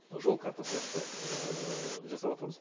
жол карта сияқты жасаватырмыз